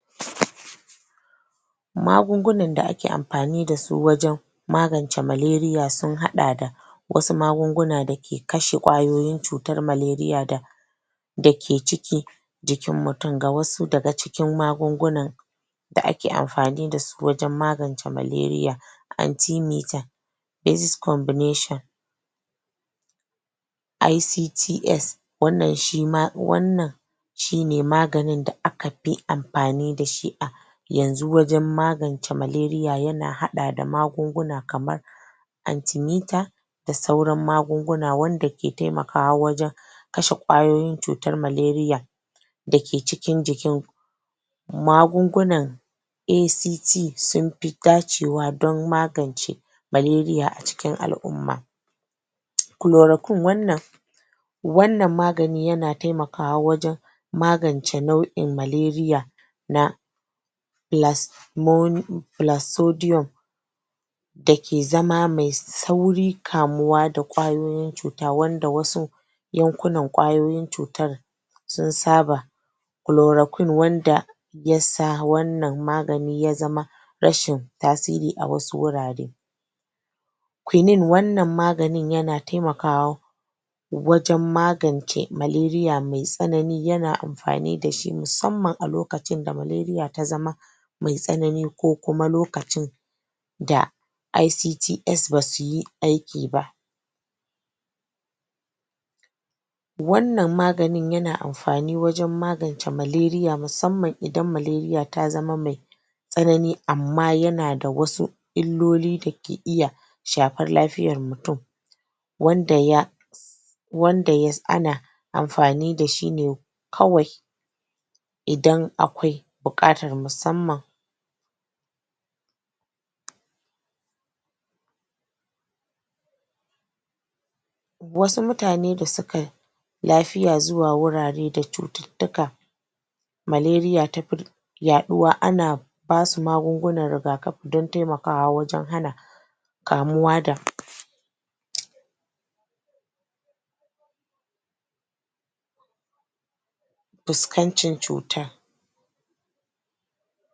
Wato kaman yanda mu ke gani wannan gona ne da ya yi kyau ba kankani ba ta hanyar gyara da ya samu kullawa da ya samu wurin manomin shi noma ne da aka yi shi, da ƙwarewa a ka yi shi ya yeƙe ne kuma ga yi nan ubangiji ya sa shi ya yi kyau, ya yi kori, ya yi shir ya fitar da ko eh ya fito da shi a wurin nan za mu iya cewa wannan amfanin dankali ne da a ka dadasa shi a ka abunnan din shi ya yi kyau, ya kuma sai na yanka da ga farko a ka je kai ya fito gonar da ya kan ingancacce irin wannan zaa a ga cewa a gurin kawai za ka iya kalla, ka ce ya samu kullawa ba kakanin wannan gona da aka, da ta sama ingantacce takki mai shaawa aka fito kuma tsannan maganan din wurin mai gonan ta, ya yi mata noma ya ya ce da ta mai ban shaawa shashasha da bar bayar lokaci, inda ya kamata ace na yinin gona, toh da ganin wannan wannan shuka, na da ganin wannan gonan a na yi mata abun da ya kamata ne, har ta kai ga wannan matsayi da ta ke abunda za ka ga inda gani har har da, tun, duk da dukka na ishe ne abu ne mai ban shaawa